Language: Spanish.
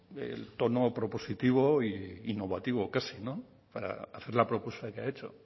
el tono propositivo e innovativo casi para hacer la propuesta que ha hecho